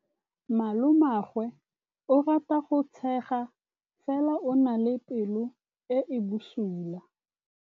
Malomagwe o rata go tshega fela o na le pelo e e bosula.